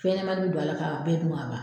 Fɛn ɲɛnamanin bɛ don a la ka bɛɛ dun ka ban.